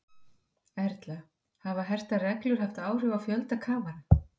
Erla, hafa hertar reglur haft áhrif á fjölda kafara?